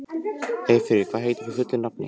Eyfríður, hvað heitir þú fullu nafni?